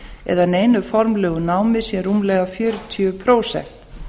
eða neinu formlegu námi sé rúmlega fjörutíu prósent